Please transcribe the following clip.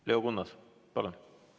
Leo Kunnas, palun!